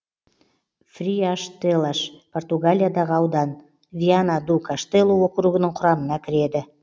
фриаштелаш португалиядағы аудан виана ду каштелу округінің құрамына кіреді